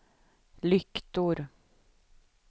lyktor